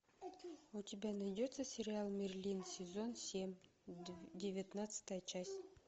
у тебя найдется сериал мерлин сезон семь девятнадцатая часть